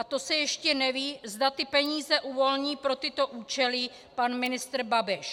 A to se ještě neví, zda ty peníze uvolní pro tyto účely pan ministr Babiš.